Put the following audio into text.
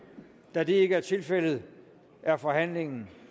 da det ikke er tilfældet er forhandlingen